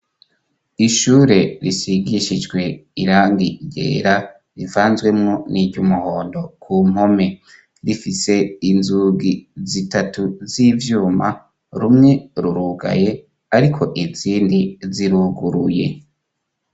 Ishure risigishijwe irangi ryera rivanzwemo n'iry'umuhondo ku mpome. Rifise inzugi zitatu z'ivyuma, rumwe rurugaye ariko inzindi ziruguruye.